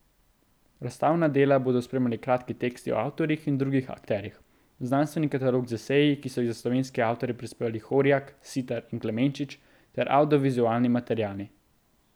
Razstavljena dela bodo spremljali kratki teksti o avtorjih in drugih akterjih, znanstveni katalog z eseji, ki so jih za slovenske avtorje prispevali Horjak, Sitar in Klemenčič, ter avdiovizualni materiali.